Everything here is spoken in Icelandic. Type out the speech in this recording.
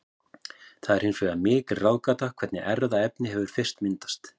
Það er hins vegar mikil ráðgáta hvernig erfðaefni hefur fyrst myndast.